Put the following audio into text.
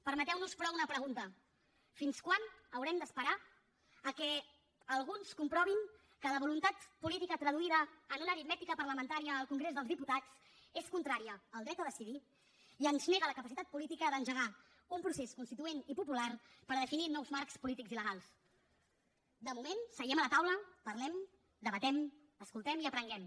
permeteu nos però una pregunta fins quan haurem d’esperar que alguns comprovin que la voluntat política traduïda en una aritmètica parlamentària al congrés dels diputats és contrària al dret a decidir i ens nega la capacitat política d’engegar un procés constituent i popular per definir nous marcs polítics i legals de moment seguem a la taula parlem debatem escoltem i aprenguem